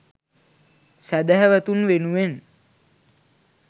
සැදැහැවතුන් වෙනුවෙන්